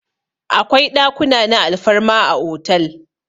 Akwai ɗakuna na alfarma a otal.